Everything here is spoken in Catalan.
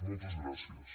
moltes gràcies